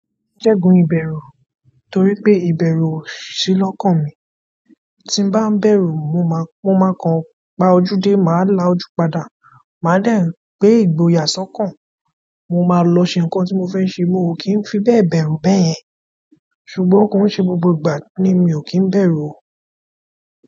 Ǹjẹ́ gun ìbẹ̀rù? Torí pé ìbẹ̀rù ò sí lọ́kàn mi. Tí bá ń bẹ̀rù mo máa kan pá ojú dé, màá la ojú padà. Màá dẹ̀ gbé ìgboyà sọ́kàn. Mo maa lọ ṣe nkan ti mo fẹ ṣe. Mii kin fi bẹ́ẹ̀ bẹ̀rù bayẹn. Ṣùgbọ́n kon ṣe gbogbo ìgbà ni mio kin bẹ̀rù oo.